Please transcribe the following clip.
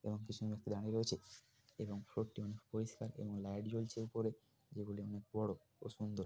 এবং কিছুজন ব্যাক্তি দাড়িয়ে রয়েছে এবং ফ্লোর টি অনেক পরিস্কার এবং লাইট জ্বলছে যেগুলি অনেক বড় ও সুন্দর ।